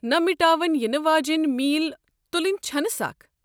نہ مِٹاون یِنہٕ واجینۍ میل تُلٕنۍ چھنہٕ سخ۔